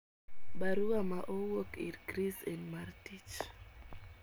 Baruwa ma owuok ir chris en mar tich.